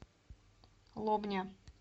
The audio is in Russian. лобня